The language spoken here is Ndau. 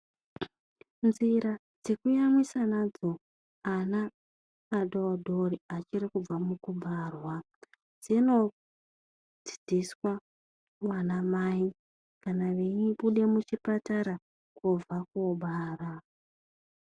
Nzira dzekuyamwisa nadzo ana adodori achirikubva mukubarwa, dzinodzidziswa ana mai kana vei buda muchipatara kobva kobara.